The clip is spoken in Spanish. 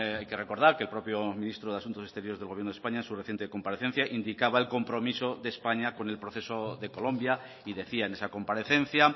hay que recordar que el propio ministro de asuntos exteriores del gobierno de españa en su reciente comparecencia indicaba el compromiso de españa con el proceso de colombia y decía en esa comparecencia